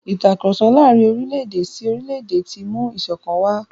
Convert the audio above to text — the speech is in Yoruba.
Ìtàkurọ̀sọ láàrin orílẹ̀-èdè sí orílẹ̀-èdè ti mú ìṣọ̀kan wà.